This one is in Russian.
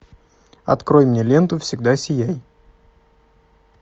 открой мне ленту всегда сияй